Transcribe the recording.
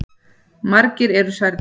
Margir eru særðir.